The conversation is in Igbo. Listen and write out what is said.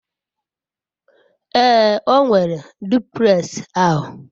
ee, o nwere duplex ahu